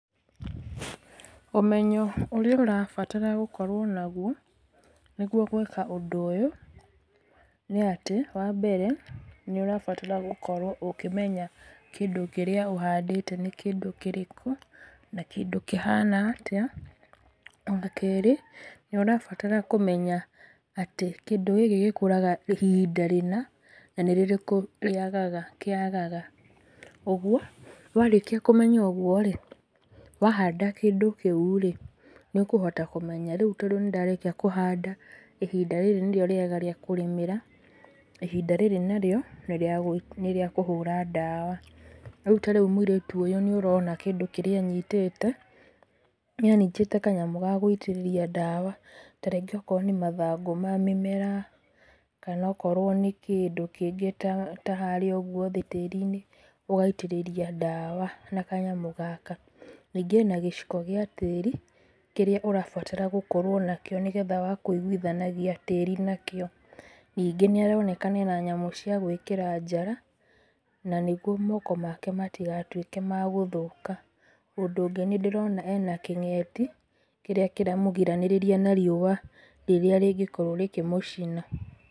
Ũmenyo ũrĩa ũrabatara gũkorwo naguo nĩguo gwĩka ũndũ ũyũ nĩ atĩ wa mbere nĩ ũrabatara gũkorwo ũkĩmenya kĩndũ kĩrĩa ũhandĩte nĩ kĩndũ kĩrĩkũ na kĩndũ kĩhana atĩa. Wa kerĩ nĩ ũrabatara kũmenya atĩ kĩndũ gĩkĩ gĩkũraga ihinda rĩna na nĩ rĩrĩkũ kĩagaga. Ũguo, warĩkia kũmenya ũguo rĩ, wahanda kĩndũ kĩu rĩ nĩ ũkũhota kũmenya. Rĩu tondũ nĩ ndarĩkia kũhanda ihinda rĩrĩ nĩrĩo rĩega rĩa kũrĩmĩra, ihinda rĩrĩ narĩo nĩ rĩa kũhũra ndawa. Rĩu ta rĩu mũirĩtu ũyũ nĩ ũrona kĩndũ kĩrĩa anyitĩte nĩ anyitĩte kanyamũ ga gũitĩrĩria ndawa. Ta rĩngĩ okorwo nĩ mathangũ ma mĩmera kana okorwo nĩ kĩndũ kĩngĩ ta harĩa ũguo tĩĩri-inĩ ũgaitĩrĩria ndawa na kanyamũ gaka. Ningĩ ena gĩciko gĩa tĩĩri, kĩrĩa ũrabatara gũkorwo nakĩo nĩgetha wa kũiguithania tĩĩri nakĩo. Ningĩ nĩ aroneka ena nyamũ cia gwĩkĩra njara, na nĩguo moko make matigatuĩke ma gũthũka. Ũndũ ũngĩ nĩ ndĩrona ena kĩngeti, kĩrĩa kĩramũgirĩrĩria na riũa rĩrĩa rĩngĩkorwo rĩkĩmũcina.